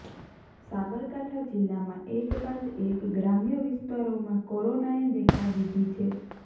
સાબરકાંઠા જિલ્લામાં એક બાદ એક ગ્રામ્ય વિસ્તારોમાં કોરોનાએ દેખા દીધી છે